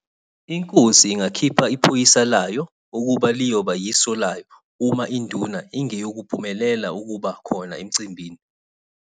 Inkosi ingakhipha iphoyisa layo ukuba liyoba yiso laya uma induna ingeyukuphumelela ukuba khona emcimbini.